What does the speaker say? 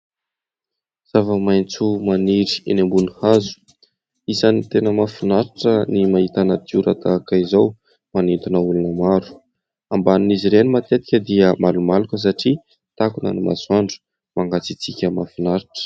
Zava-maitso maniry eny ambony hazo, isan'ny tena mahafinaritra ny mahita natiora tahaka izao manintona olona maro, ambanin'izy ireny matetika dia malomaloka satria takona ny masoandro mangatsiatsiaka mahafinaritra.